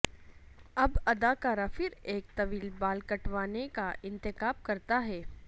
اب اداکارہ پھر ایک طویل بال کٹوانے کا انتخاب کرتا ہے